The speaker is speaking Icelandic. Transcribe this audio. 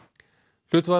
hlutfall